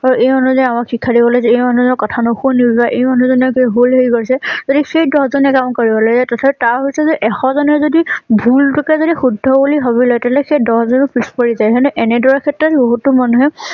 আৰু এই আমাক শিক্ষা দিবলৈ এই মানুহজনৰ কথা নুশুনিব এই মানুহজনে কিবা ভুল হেই কৈছে তেন্তে সেই দহ জনে কাম কৰিব লাগে হৈছে যে এশ জনে যদি ভুল টোকে যদি শুদ্ধ বুলি ভাবি লয়। তেন্তে সেই দহ জন ও পিছ পৰি যায়। এনেদৰে ক্ষেত্ৰত বহুতো মানুহে